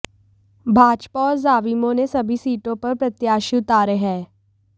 भाजपा और झाविमो ने सभी सीटाें पर प्रत्याशी उतारे हैं